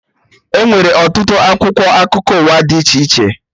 Enwere ọtụtụ akwụkwọ akụkọ ụwa dị iche iche